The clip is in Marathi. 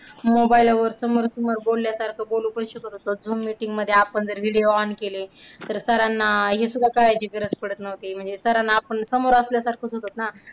Mobile वर समोरासमोर बोलल्यासारखं बोलू पण शकत होतो. Zoom meeting मध्ये आपण जर video on केले तर sir ना हे सुद्धा कळायची गरज पडत नव्हती म्हणजे. sir ना आपण समोर असल्यासारखं होतंत ना.